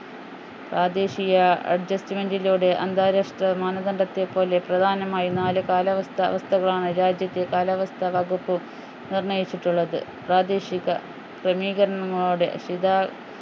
പ്രാദേശിക adjustment ലൂടെ അന്താരാഷ്ട്ര മാനദണ്ഡത്തെ പോലെ പ്രധാനമായും നാല് കാലാവസ്ഥ അവസ്ഥകളാണ് രാജ്യത്തെ കാലാവസ്ഥ വകുപ്പ് നിർണയിച്ചിട്ടുള്ളത് പ്രാദേശിക ക്രമീകരണങ്ങളോടെ